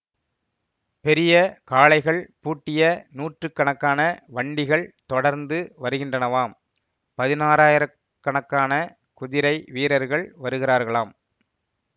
பெரிய காளைகள் பூட்டிய நூற்று கணக்கான வண்டிகள் தொடர்ந்து வருகின்றனவாம் பதினாயிரக்கணக்கான குதிரை வீரர்கள் வருகிறார்களாம்